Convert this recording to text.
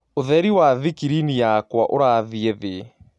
ũtherĩ wa thĩkĩrĩnĩ yakwaũrathĩĩ thĩĩ